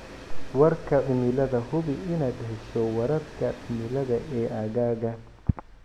Warka Cimilada Hubi inaad hesho wararka cimilada ee aaggaaga.